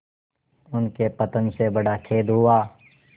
उनके पतन से बड़ा खेद हुआ